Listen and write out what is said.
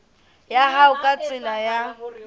ya hao ka tsela ya